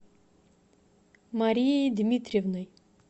марией дмитриевной